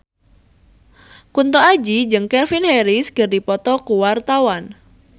Kunto Aji jeung Calvin Harris keur dipoto ku wartawan